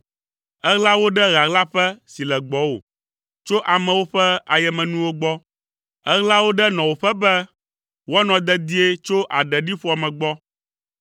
Èɣla wo ɖe ɣaɣlaƒe si le gbɔwò, tso amewo ƒe ayemenuwo gbɔ. Èɣla wo ɖe nɔwòƒe be woanɔ dedie tso aɖeɖiƒoame gbɔ.